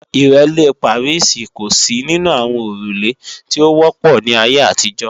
Ìrẹ́lé Pàríìsì kò sí nínú àwọn òrùlé tí ó wọ́pọ̀ ní ayé àtijọ́